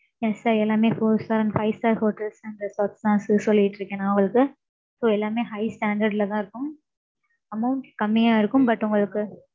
Yes sir எல்லாமே, four star and five star hotels தான் sir first சொல்லிட்டு இருக்கேன், நான் வந்து. So எல்லாமே high standard ல தான் இருக்கும். Amount கம்மியா இருக்கும். But உங்களுக்கு